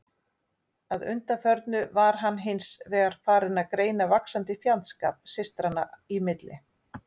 Að undanförnu var hann hins vegar farinn að greina vaxandi fjandskap systranna í milli.